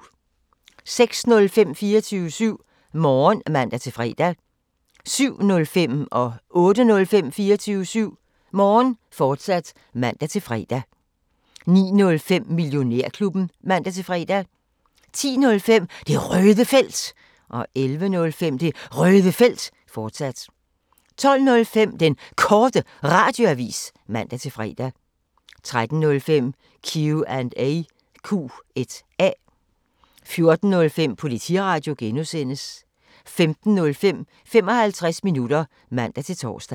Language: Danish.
06:05: 24syv Morgen (man-fre) 07:05: 24syv Morgen, fortsat (man-fre) 08:05: 24syv Morgen, fortsat (man-fre) 09:05: Millionærklubben (man-fre) 10:05: Det Røde Felt 11:05: Det Røde Felt, fortsat 12:05: Den Korte Radioavis (man-fre) 13:05: Q&A 14:05: Politiradio (G) 15:05: 55 minutter (man-tor)